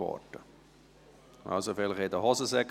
Vielleicht wühlen Sie in den Hosentaschen.